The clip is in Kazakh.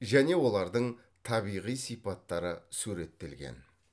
және олардың табиғи сипаттары суреттелген